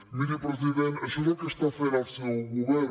miri president això és el que està fent el seu govern